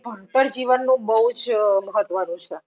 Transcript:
ભણતર જીવનનું બાવ જ મહત્વનું છે